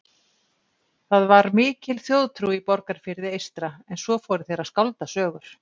Það var mikil þjóðtrú í Borgarfirði eystra en svo fóru þeir að skálda sögur.